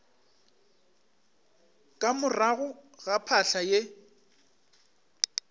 ka morago ga phahla ye